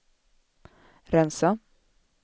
rensa